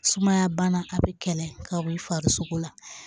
Sumaya bana a bɛ kɛlɛ ka bɔ i farisoko la